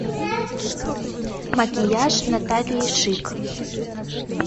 макияж натальи шик